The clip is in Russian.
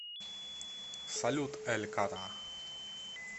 салют эль ката